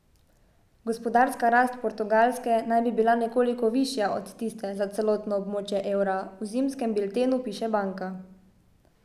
Gospodarska rast Portugalske naj bi bila nekoliko višja od tiste za celotno območje evra, v zimskem biltenu piše banka.